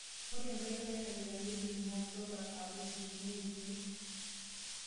Ore nkariak nairagita nemituyay sola abukokinyie irkiek.